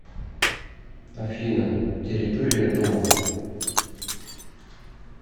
афина территория дома